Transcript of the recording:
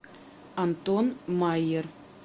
антон майер